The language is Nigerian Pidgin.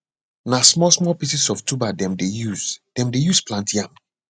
na smallsmall pieces of the tuber dem de use dem de use plant yam